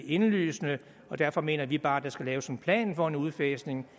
indlysende og derfor mener vi bare at der skal laves en plan for en udfasning